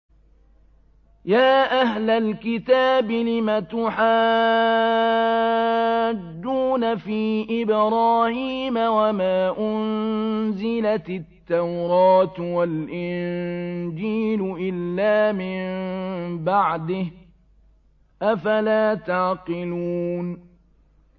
يَا أَهْلَ الْكِتَابِ لِمَ تُحَاجُّونَ فِي إِبْرَاهِيمَ وَمَا أُنزِلَتِ التَّوْرَاةُ وَالْإِنجِيلُ إِلَّا مِن بَعْدِهِ ۚ أَفَلَا تَعْقِلُونَ